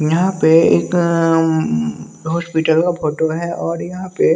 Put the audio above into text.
यहाँ पे एक उम हॉस्पिटल का फोटो है और यहां पे--